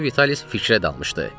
Sinyor Vitalis fikrə dalmışdı.